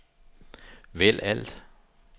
vælg alt